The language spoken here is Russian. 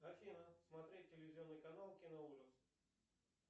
афина смотреть телевизионный канал киноужас